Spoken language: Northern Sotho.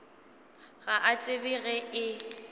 ga a tsebe ge e